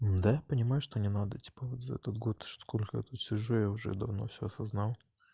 да я понимаю что не надо типа вот за этот год сколько я тут сижу я уже давно всё осознал